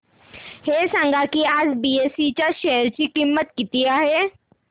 हे सांगा की आज बीएसई च्या शेअर ची किंमत किती आहे